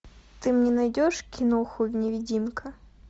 ты мне найдешь киноху невидимка